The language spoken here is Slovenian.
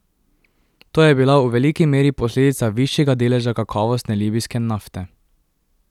To je bila v veliki meri posledica višjega deleža kakovostne libijske nafte.